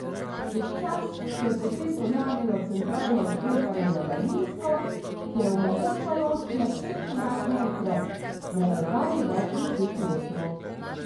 Čez čas se je potem pojavilo centralno odklepanje na daljinsko, ki je omogočalo odklep vseh vrat naenkrat, na razdalji več deset metrov.